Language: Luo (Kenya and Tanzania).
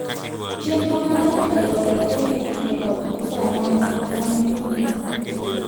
chenro mar andika e lowo e kenya itudo kod koso ayanga kata miriambo mathoth